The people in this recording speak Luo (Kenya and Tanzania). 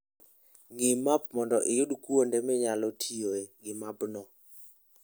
Ng'i map mondo iyud kuonde minyalo tiyoe gi mapgo.